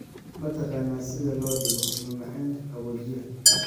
Ma taqaanaa sida loo dhigo macmacaan qaboojiyaha?